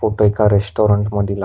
Photo एका restaurant मधील आहे.